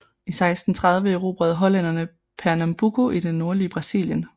I 1630 erobrede hollænderne Pernambuco i det nordlige Brasilien